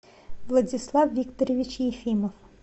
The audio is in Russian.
владислав викторович ефимов